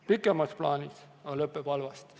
Pikemas plaanis lõpeb see aga halvasti.